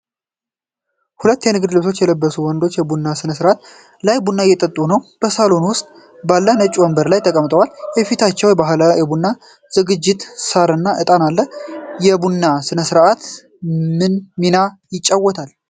ሁለት የንግድ ልብስ የለበሱ ወንዶች በቡና ሥነ-ስርዓት ላይ ቡና እየጠጡ ነው። በሳሎን ውስጥ ባሉ ነጭ ወንበሮች ላይ ተቀምጠዋል፣ በፊታቸውም ባህላዊ የቡና ዝግጅት፣ ሣር እና ዕጣን አለ። የቡና ሥነ-ስርዓት ምን ሚና ይጫወታል?